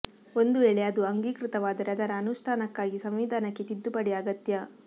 ಒಂದು ವೇಳೆ ಅದು ಅಂಗೀಕೃತವಾದರೆ ಅದರ ಅನುಷ್ಠಾನಕ್ಕಾಗಿ ಸಂವಿಧಾನಕ್ಕೆ ತಿದ್ದುಪಡಿ ಆಗತ್ಯ